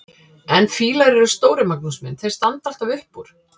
En fílar eru stórir, Magnús minn, þeir standa alltaf upp úr!